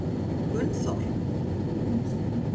Gunnþór